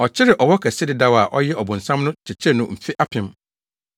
Ɔkyeree ɔwɔ kɛse dedaw a ɔyɛ ɔbonsam no kyekyeree no mfe apem.